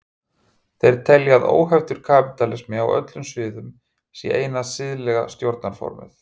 þeir telja að óheftur kapítalismi á öllum sviðum sé eina siðlega stjórnarformið